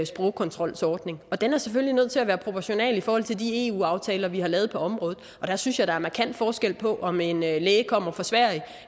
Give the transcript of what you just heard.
sprogkontrolsordning og den er selvfølgelig nødt til at være proportional i forhold til de eu aftaler vi har lavet på området der synes jeg der er markant forskel på om en læge kommer fra sverige